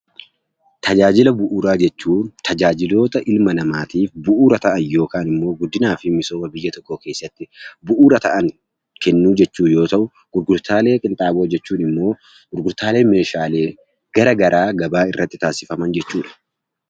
Tajaajila bu'uuraa jechuun tajaajiloota ilma namaatiif bu'uura ta'an yookaan immoo guddinaa fi misooma biyya tokkoo keessatti bu'uura ta'an kennuu jechuu yoo ta'u, gurgurtaalee qinxaaboo jechuun immoo gurgurtaalee meeshaalee garagaraa gabaa irratti taasifaman jechuu dha.